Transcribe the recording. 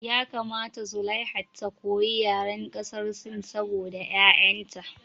Ya kamata zulaiha ta koyi yaren ƙasar sin saboda ƴaƴan ta